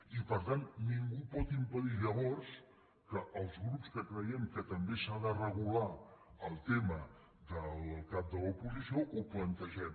i per tant ningú pot impedir llavors que els grups que creiem que també s’ha de regular el tema del cap de l’oposició ho plantegem